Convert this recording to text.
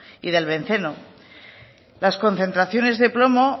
y del benceno las concentraciones de plomo